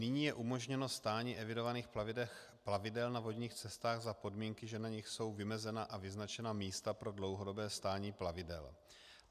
Nyní je umožněno stání evidovaných plavidel na vodních cestách za podmínky, že na nich jsou vymezena a vyznačena místa pro dlouhodobé stání plavidel.